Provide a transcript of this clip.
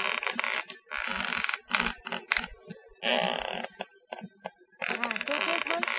હા શું કેહ શ બોલ